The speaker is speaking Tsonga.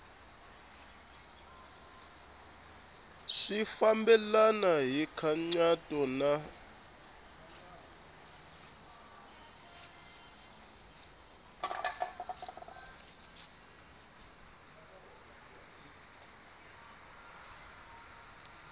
swi fambelena hi nkhaqato na